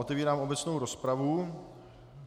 Otevírám obecnou rozpravu.